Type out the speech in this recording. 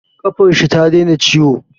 Ƙafar shi ta daina ciwo